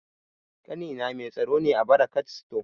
Ƙanina mai tsaro ne a barakat sto